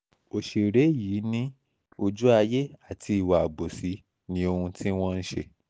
ọ̀sẹ̀rẹ̀ yìí ni yìí ni ojú ayé àti ìwà àbòsí ní ohun tí wọ́n ṣe